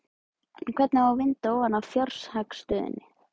En hvernig á að vinda ofan af fjárhagsstöðunni?